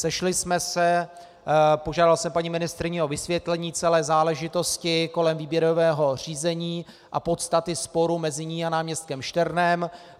Sešli jsme se, požádal jsem paní ministryni o vysvětlení celé záležitosti kolem výběrového řízení a podstaty sporu mezi ní a náměstkem Šternem.